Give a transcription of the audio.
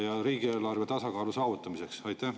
… ja riigieelarve tasakaalu saavutamiseks?